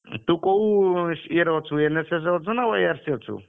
ତୁ କୋଉ ଇଏ ରେ ଅଛୁ NSS ଅଛୁନା YRC ରେ ଅଛୁ?